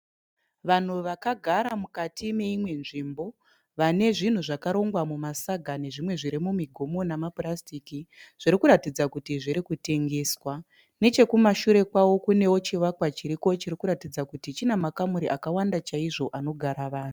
Vanhu vakagara mukati meimwe nzvimbo vane zvinhu zvakarongwa mumasaga, nezvimwe zviri mumigomo nemapurasitiki zviri kuratidza kuti zviri kutengeswa nechekumashure kwavo kune chivakwa chiriko chine makamuri akawanda chaizvo anoratidza kuti chinogara vanhu.